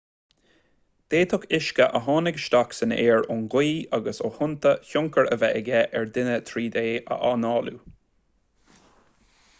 d'fhéadfadh uisce a tháinig isteach san aer ón ngaoth agus ó thonnta tionchar a bheith aige ar dhuine tríd é análú